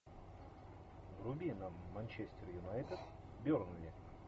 вруби нам манчестер юнайтед бернли